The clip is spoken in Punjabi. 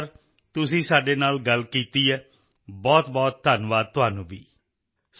ਧੰਨਵਾਦ ਸਰ ਤੁਸੀਂ ਸਾਡੇ ਨਾਲ ਗੱਲ ਕੀਤੀ ਹੈ ਬਹੁਤਬਹੁਤ ਧੰਨਵਾਦ ਤੁਹਾਨੂੰ ਵੀ